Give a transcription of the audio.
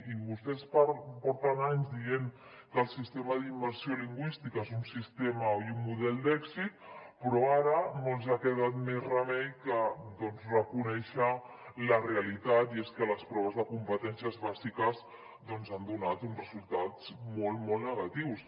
i vostès porten anys dient que el sistema d’immersió lingüística és un sistema i un model d’èxit però ara no els ha quedat més remei que reconèixer la realitat i és que les proves de competències bàsiques doncs han donat uns resultats molt molt negatius